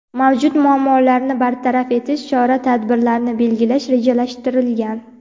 mavjud muammolarni bartaraf etish chora-tadbirlarini belgilash rejalashtirilgan.